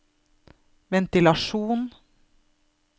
ventilasjon